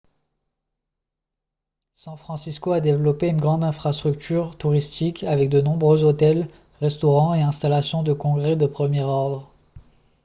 san francisco a développé une grande infrastructure touristique avec de nombreux hôtels restaurants et installations de congrès de premier ordre